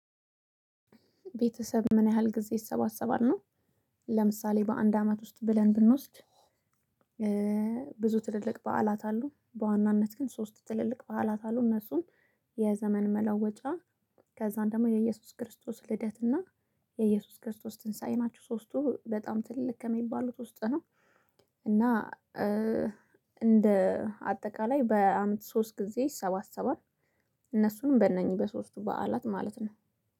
ቤተሰብ ምን ያህል ጊዜ ይሰባሰባል? ነው። ለምሳሌ በአንድ አመት ውስጥ ብለን ብንወስድ ብዙ ትልልቅ በዓላት አሉ። በዋናነት ግን ሶስት ትልልቅ በዓላት አሉ። እነሱም የዘመን መለወጫ፣ ከዛን ደግሞ የኢየሱስ ክርስቶስ ልደት እና የኢየሱስ ክርስቶስ ትንሳኤ ናችው። ሶስቱ በጣም ትልቅ ከሚባሉት ውስጥ ነው። እና እንደ አጠቃላይ በአመት ሶስት ጊዜ ይሰባሰባል። እነሱንም በእነኚህ በሶስቱ በዓላት ማለት ነው።